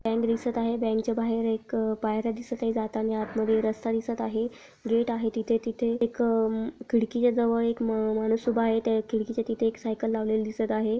Bank दिसत आहे बॅंकच्या बाहेर एक पायर्‍या दिसतं आहेत जाताना आतमध्ये रस्ता दिसत आहे गेट आहे तिथे तिथे एक अह-अम खिडकी के जवळ एक माणूस उभा आहे त्या खिडकी च्या तिथ एक सायकल लावलेली दिसत आहे.